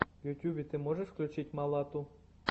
в ютубе ты можешь включить малату